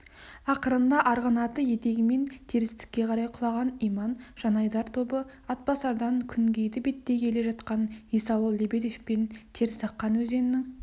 ақырында арғынаты етегімен терістікке қарай құлаған иман жанайдар тобы атбасардан күнгейді беттей келе жатқан есауыл лебедевпен терісаққан өзенінің